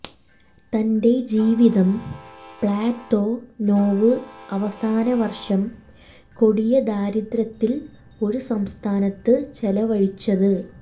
തന്റെ ജീവിതം പ്ലതൊനൊവ് അവസാന വർഷം കൊടിയ ദാരിദ്ര്യത്തിൽ ഒരു സംസ്ഥാനത്ത് ചെലവഴിച്ചത്